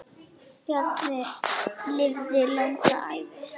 Bjarni lifði langa ævi.